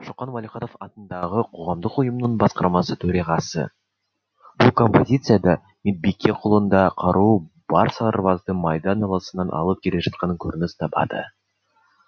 шоқан уәлиханов атындағы қоғамдық ұйымның басқармасы төрағасы бұл композицияда медбике қолында қаруы бар сарбазды майдан даласынан алып келе жатқаны көрініс табады